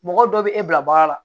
Mɔgɔ dɔ bɛ e bila bagan la